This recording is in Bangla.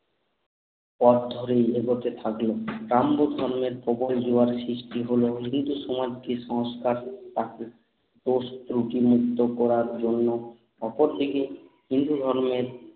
পথ ধরেই এগোতে থাকল ডাম্বোজ ধর্মের প্রবল জোয়ার এ সৃষ্টি হলো ভীতু সমাজ কি কুসংস্কার তাকে দোষ ত্রুটি মুক্ত করার জন্য অপর দিকে হিন্দু ধর্মের